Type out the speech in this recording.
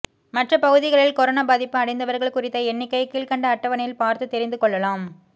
மற்ற பகுதிகளில் கொரோனா பாதிப்பு அடைந்தவர்கள் குறித்த எண்ணிக்கையை கீழ்க்கண்ட அட்டவணையில் பார்த்து தெரிந்து கொள்ளலாம்